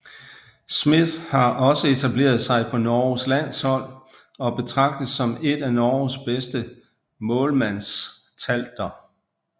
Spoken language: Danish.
Smith har også etableret sig på Norges landshold og betragtes som et af Norges bedste målmandstalter